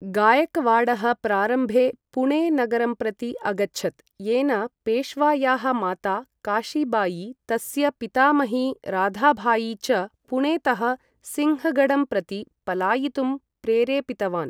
गायकवाडः प्रारम्भे पुणे नगरं प्रति अगच्छत्, येन पेश्वायाः माता काशिबायी, तस्य पितामही राधाबायी च पुणेतः सिन्हगढं प्रति पलायितुं प्रेरेपितवान्।